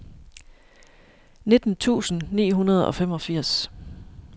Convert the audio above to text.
nitten tusind ni hundrede og femogfirs